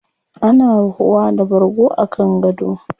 Ana ruhuwa da bargo a kan gado.